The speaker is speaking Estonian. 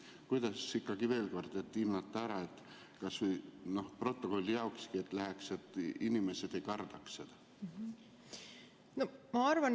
Kuidas ikkagi veel kord seda hinnata, kas või selleks, et protokolli läheks, et inimesed ei kardaks?